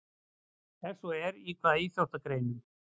Ef svo er, í hvaða íþróttagreinum?